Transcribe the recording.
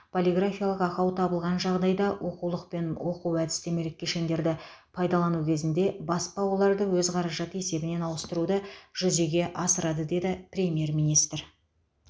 полиграфиялық ақау табылған жағдайда оқулық пен оқу әдістемелік кешендерді пайдалану кезінде баспа оларды өз қаражаты есебінен ауыстыруды жүзеге асырады деді премьер министр